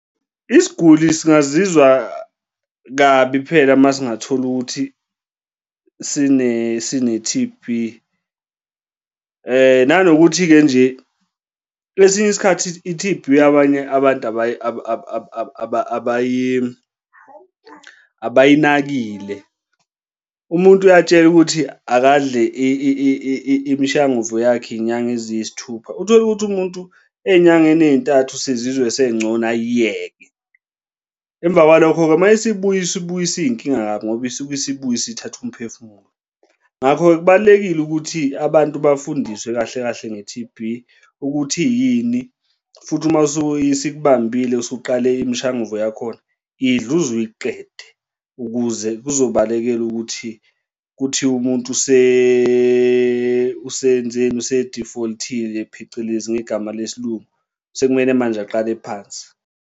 Isiguli singazizwa kabi phela uma singatholi ukuthi sine-T_B. Nanokuthi-ke nje kwesinye isikhathi i-T_B abanye abantu abayinakile. Umuntu uyatshelwa ukuthi akadle imishanguzo yakhe ngenyanga eziyisithupha, uthole ukuthi umuntu ey'nyangeni ey'ntathu sezizwe engcono ayiyeke. Emva kwalokho-ke uma isibuya sibuya isiyinkinga kabi ngoba isibuyisa isithatha umphefumulo. Ngakho-ke kubalulekile ukuthi abantu bafundiswe kahle kahle nge-T_B ukuthi iyini? Futhi uma isikubambile isuqale imshanguzo yakhona idle uze uyiqede ukuze kuzobalekela ukuthi kuthiwe umuntu usenzeni use-default-ile phecelezi ngegama lesilungu. Sekumele manje aqale phansi.